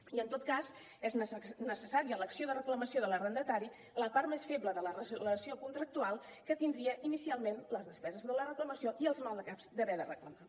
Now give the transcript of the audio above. i en tot cas és necessària l’acció de reclamació de l’arrendatari la part més feble de la relació contractual que tindria inicialment les despeses de la reclamació i els maldecaps d’haver de reclamar